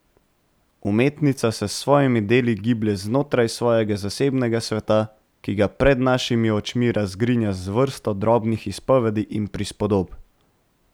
Umetnica se s svojimi deli giblje znotraj svojega zasebnega sveta, ki ga pred našimi očmi razgrinja z vrsto drobnih izpovedi in prispodob.